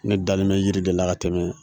Ne dalen mɛ yiri de la ka tɛmɛn